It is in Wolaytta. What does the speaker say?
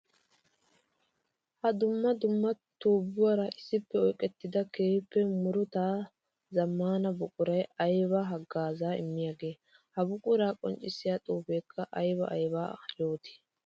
Ha dumma dumma tubbuwara issippe oyqqettidda keehippe murutta zamaana buquray aybba hagaaza immiyaage? Ha buqura qonccissiya xuufekka aybba aybba yootti?